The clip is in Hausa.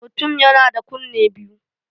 Mutum yana da kunne biyu.